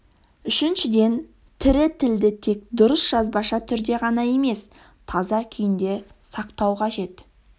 үшіншіден тірі тілді тек дұрыс жазбаша түрде ғана емес таза күйінде сақтау қажет